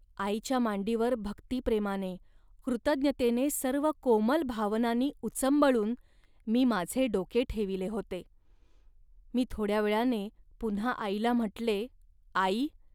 आईच्या मांडीवर भक्तिप्रेमाने, कृतज्ञतेने सर्व कोमल भावनांनी उचंबळून मी माझे डोके ठेविले होते. मी थोड्या वेळाने पुन्हा आईला म्हटले, "आई